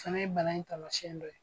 O fana ye bana in taamasiyɛn dɔ ye.